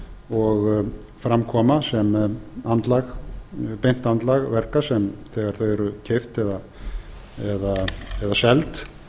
og fram koma sem beint andlag verka þegar þau eru keypt eða seld